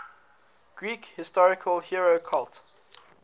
greek historical hero cult